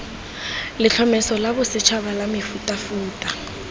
letlhomeso la bosetšhaba la mefutafuta